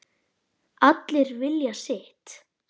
Allir vilja sitt